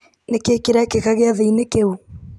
nĩ kĩĩ kĩrekĩka gĩathĩ-inĩ kĩu